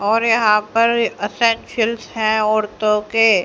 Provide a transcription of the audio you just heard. और यहां पर औरतों के--